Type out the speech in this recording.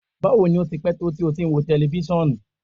Bawo ni o ti pẹ to ti o ti n wo tẹlifisiọnu?